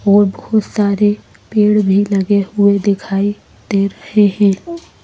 और बहुत सारे पेड़ भी लगे हुए दिखाई दे रहे हैं।